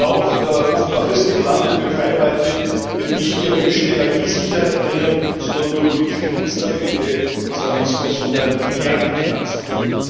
Auch der offenbar fest geplante Beitritt der Türkei wird nicht die erwünschte Energiesicherheit bringen, sondern nur politische Instabilität, Islamismus und ein Milliarden Finanzloch.